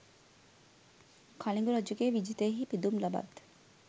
කලිඟු රජුගේ විජිතයෙහි පිදුම් ලබත්